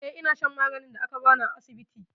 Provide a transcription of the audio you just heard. Eh, ina shan maganin da aka bani a asibiti.